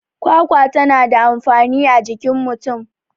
kwakwa tana da amfani a jikin mutum